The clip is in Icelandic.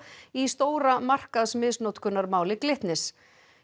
í stóra Glitnis